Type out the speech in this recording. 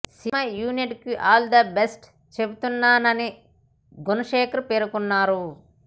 cinema యూనిట్కి all the best చెబుతున్నానని గుణశేఖర్ పేర్కొన్నారు